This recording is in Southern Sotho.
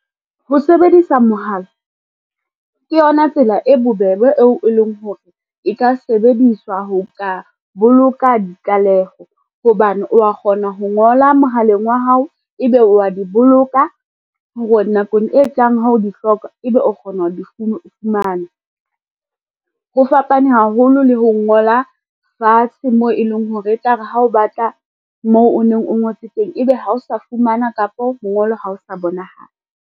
Ho sebedisa mohala, ke yona tsela e bobebe eo e leng hore, e ka sebediswa ho ka boloka ditlaleho, hobane wa kgona ho ngola mohaleng wa hao e be wa di boloka hore nakong e tlang ha o di hloka, ebe o kgona ho di fumana. Ho fapane haholo le ho ngola fatshe mo e leng hore, e tla re ha o batla moo o neng o ngotse teng, ebe ha o sa fumana kapo mongolo ha o sa bonahala.